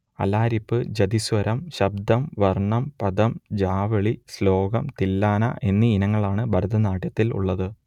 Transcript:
അലാരിപ്പ് ജതിസ്വരം ശബ്ദം വർണം പദം ജാവളി ശ്ലോകം തില്ലാന എന്നീ ഇനങ്ങളാണ് ഭരതനാട്യത്തിൽ ഉള്ളത്